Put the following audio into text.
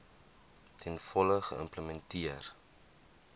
ten volle geïmplementeer